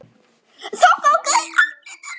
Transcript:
Þá gangi allt betur.